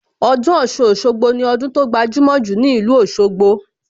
Ọdún Ọ̀ṣun-Òṣogbo ni ọdún tó gbajumo jù ní ìlú Òsogbo